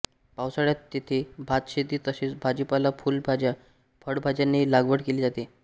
पावसाळ्यात येथे भातशेती तसेच भाजीपाला फुलभाज्याफळभाज्यांची लागवड केली जाते